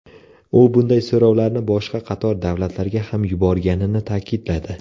U bunday so‘rovlarni boshqa qator davlatlarga ham yuborganini ta’kidladi.